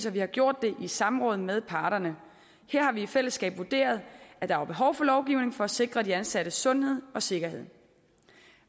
vi har gjort det i samråd med parterne her har vi i fællesskab vurderet at der var behov for lovgivning for at sikre de ansattes sundhed og sikkerhed